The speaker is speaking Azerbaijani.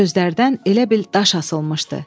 Sözlərdən elə bil daş asılmışdı.